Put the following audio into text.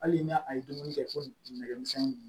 Hali n'a a ye dumuni kɛ ko nɛgɛmisɛnnin